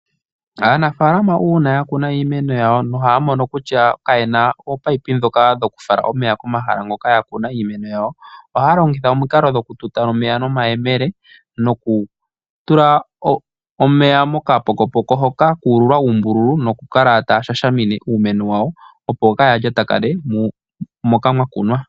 Aanafaalama uuna ya kuna iimeno yawo nohaya mono kutya ka yena opayipi dhoka dho kufala omeya ko mahala hoka ya kuna iimeno yawo, ohaya longitha omikalo dhoku tuta omeya no mayemele noku tula omeya mo ka pokopoko hoka ku ululwa uumbululu noku kala taya shashamine uumeno wawo opo kaya lyatakane moka mwa kunwa.